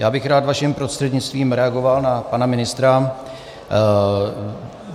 Já bych rád vaším prostřednictvím reagoval na pana ministra.